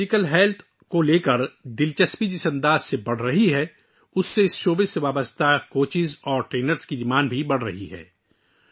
جس طرح جسمانی صحت میں دلچسپی بڑھ رہی ہے، اس شعبے سے متعلق کوچز اور ٹرینرز کی مانگ بھی بڑھ رہی ہے